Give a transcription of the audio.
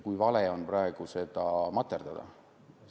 On vale praegu seda materdada.